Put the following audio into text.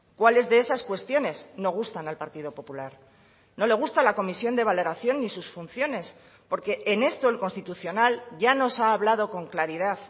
cuáles de esas cuestiones no gustan al partido popular no le gusta la comisión de valoración ni sus funciones porque en esto el constitucional ya nos ha hablado con claridad